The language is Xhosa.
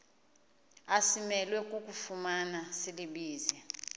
asimelwe kufumana silibize